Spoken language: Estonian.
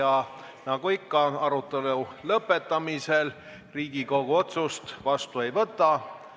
Aga ma soovitan kõikidel Riigikogu liikmetel astuda läbi alt fuajeest, sest täna möödus 100 aastat Eesti maaseaduse vastuvõtmisest ja natukese aja eest avati selleteemaline näitus.